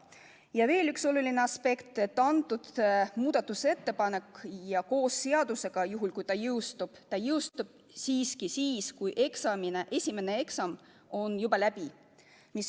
Ja veel üks oluline aspekt: see muudatusettepanek jõustub koos seadusega – juhul kui see jõustub –, alles siis, kui esimene eksam on juba läbi.